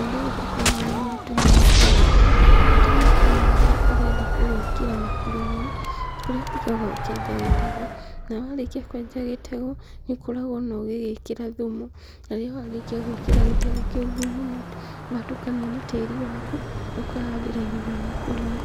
Ũndũ ũyũ ndũkoragwo wĩ mũritũ mũno kũwĩka. Bata nĩ ũkorwo na haria ũrenda kũwĩkĩra na kũrĩmĩra. Kũrĩa ũthiaga ũkenja gĩtegũ, na warĩkia kwenja gĩtegũ nĩ ũkorogwo ona ũgĩgĩkĩra thumu. Na rĩrĩa warĩkia gwĩkĩra gĩtegũ kĩu thumu na watukania na tĩĩri waku ũkahandĩra irigũ rĩaku hau.